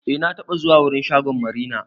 Eh na taɓa zuwa wurin shagon marina.